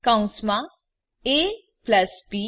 કૌંસમાં ab